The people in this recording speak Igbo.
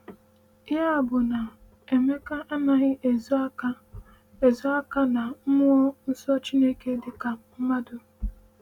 Ya bụ na Emeka anaghị ezo aka ezo aka na Mmụọ Nsọ Chineke dịka mmadụ.